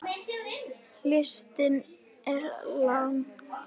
Listinn er langur.